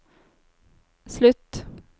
slutt